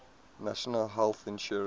national health insurance